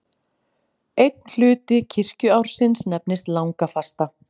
Einn hluti kirkjuársins nefnist langafasta.